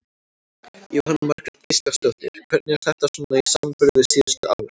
Jóhanna Margrét Gísladóttir: Hvernig er þetta svona í samanburði við síðustu ár?